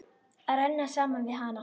Að renna saman við hana.